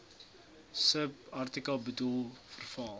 subartikel bedoel verval